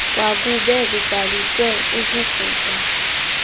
kwakube kubhaliswe ukubhubha